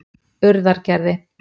Urðargerði